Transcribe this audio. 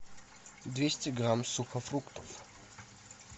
двести грамм сухофруктов